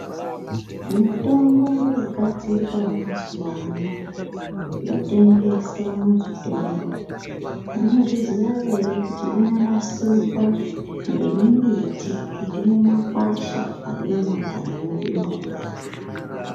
Mitombo yogadzirwa mazuwa ano yotengeswa muzvitoro munozviziya ere kuti inonasirwa ngemimbiti irimumakwasha arimumakanyi mwedu mwomwo.